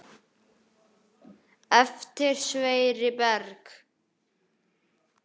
Eftir Sverri Berg.